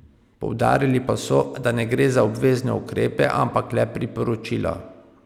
Poudarili pa so, da ne gre za obvezne ukrepe, ampak le priporočila.